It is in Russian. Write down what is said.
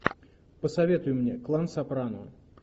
посоветуй мне клан сопрано